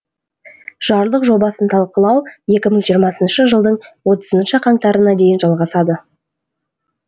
жарлық жобасын талқылау екі мың жиырмасыншы жылдың отызыншы қаңтарына дейін жалғасады